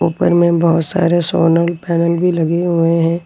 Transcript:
ऊपर में बहुत सारे सोनल पैनल भी लगे हुए हैं।